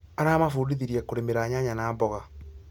Aramabundithirie kũrĩmĩra nyanya na mboga